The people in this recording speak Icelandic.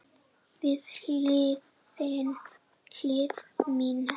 Við hlið mína.